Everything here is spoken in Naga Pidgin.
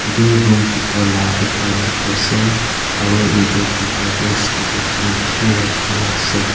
room bitor laa ekta dikhi ase aru yate bitor te scooty khan beshi rakhina ase.